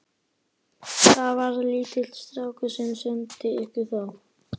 Það var lítill strákur sem sendi ykkur þá.